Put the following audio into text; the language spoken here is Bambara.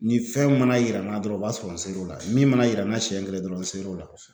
Ni fɛn mana yira n'a dɔrɔn o b'a sɔrɔ n ser'o la min mana yira n na siɲɛ kelen dɔrɔn n ser'o la